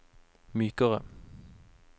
mykere